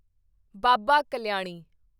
Baba Kalyani